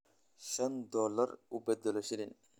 shan dollar u beddelo shilin